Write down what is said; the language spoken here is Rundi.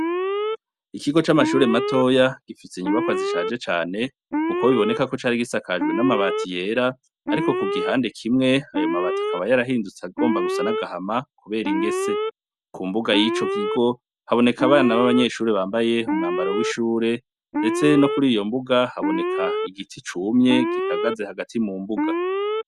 Ikigo c'amashure matoya, gifise inyubakwa zishaje cane, kuko biboneka ko cari gisakajwe n'amabati yera, ariko ku gihande kimwe, ayo mabati akaba yarahindutse agomba gusa n'agahama, kubera ingese. Ku mbuga y'ico kigo, haboneka abana b'abanyeshure bambaye umwambaro w'ishure, ndetse no kuri iyo mbuga haboneka igiti cumye, gihagaze hagati mu mbuga.